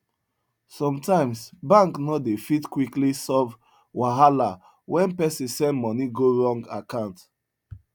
sometimes bank no dey fit quickly solve wahala when person send money go wrong account